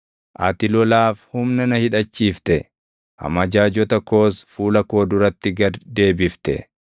Ati lolaaf humna na hidhachiifte; amajaajota koos fuula koo duratti gad deebifte.